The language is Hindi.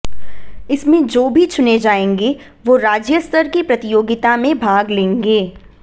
इसमें जो भी चुने जाएंगे वो राज्य स्तर की प्रतियोगिता मे भाग लेंगे